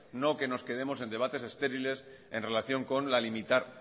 no que nos quedemos en debates estériles en relación con limitar